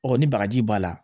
Ɔ ni bagaji b'a la